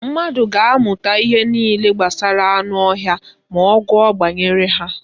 Mmadụ ga-amụta ihe niile gbasara anụ ọhịa ma ọ gụọ banyere ha.